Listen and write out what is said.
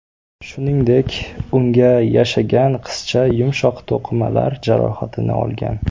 Shuningdek, uyga yashagan qizcha yumshoq to‘qimalar jarohatini olgan.